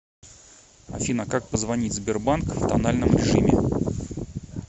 афина как позвонить в сбербанк в тональном режиме